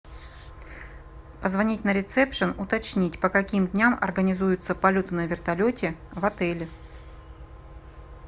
позвонить на ресепшен уточнить по каким дням организуются полеты на вертолете в отеле